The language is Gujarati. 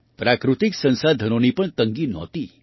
પ્રાકૃતિક સંસાધનોની પણ તંગી નહોતી